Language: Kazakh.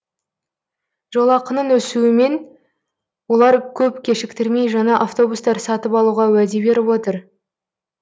жолақының өсуімен олар көп кешіктірмей жаңа автобустар сатып алуға уәде беріп отыр